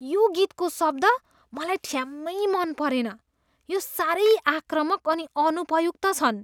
यो गीतको शब्द मलाई ठ्याम्मै मन परेन। यी साह्रै आक्रामक अनि अनुपयुक्त छन्।